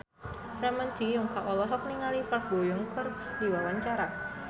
Ramon T. Yungka olohok ningali Park Bo Yung keur diwawancara